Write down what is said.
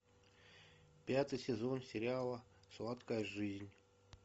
пятый сезон сериала сладкая жизнь